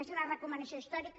aquesta és una recomanació històrica